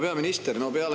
Härra peaminister!